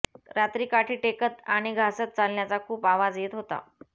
रात्री काठी टेकत आणी घासत चालण्याचा खुप आवाज येत होता